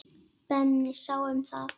Benni sá um það.